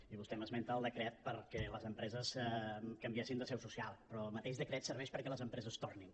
i vostè m’esmenta el decret perquè les empreses canviessin de seu social però el mateix decret serveix perquè les empreses tornin